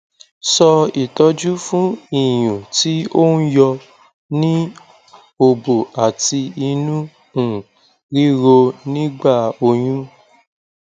so itoju fun iyun ti o n yo ni obo ati inu um riro nigba oyun